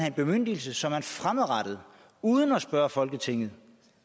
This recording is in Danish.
en bemyndigelse så man fremadrettet uden at spørge folketinget